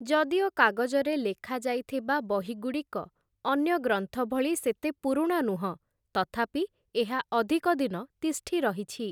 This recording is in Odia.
ଯଦିଓ କାଗଜରେ ଲେଖାଯାଇଥିବା ବହିଗୁଡ଼ିକ ଅନ୍ୟ ଗ୍ରନ୍ଥଭଳି ସେତେ ପୁରୁଣା ନୁହଁ ତଥାପି ଏହା ଅଧିକ ଦିନ ତିଷ୍ଠି ରହିଛି ।